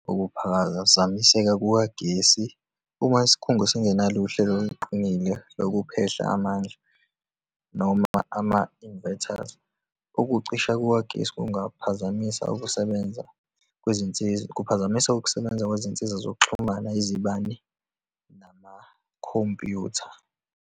Ukuphazamiseka kukagesi uma isikhungo singenalo uhlelo oluqinile lokuphehla amandla, noma ama-invertors, ukucisha kukagesi kungaphazamisa ukusebenza kwezinsiza, kuphazamisa ukusebenza kwezinsiza zokuxhumana, izibani, namakhompyutha.